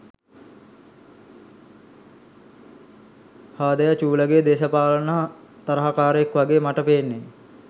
හාදයා චූලගෙ දේශපාලන තරහකාරයෙක් වගෙ මට පේන්නෙ